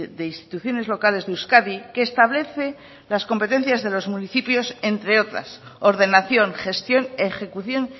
de instituciones locales de euskadi que establece las competencias de los municipios entre otras ordenación gestión ejecución